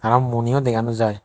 aro muoniyo dega naw jai.